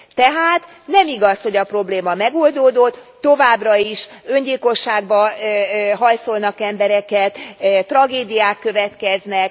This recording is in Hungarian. Tehát nem igaz, hogy a probléma megoldódott, továbbra is öngyilkosságba hajszolnak embereket, tragédiák következnek.